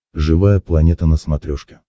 живая планета на смотрешке